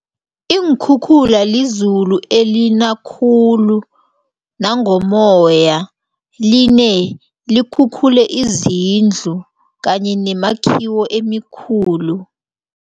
Iinkhukhula lizulu elina khulu nangommoya line likhukhule izindlu kanye nemakhiwo emikhulu.